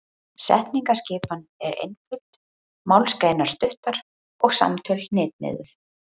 Setningaskipan er einföld, málsgreinar stuttar og samtöl hnitmiðuð.